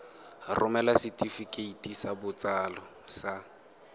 romela setefikeiti sa botsalo sa